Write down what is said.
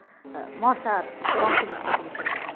মশার বংশ বিস্তার করে ফেলল। হম